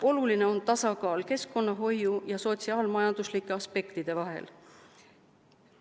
Oluline on tasakaal keskkonnahoiu ja sotsiaal-majanduslike aspektide vahel.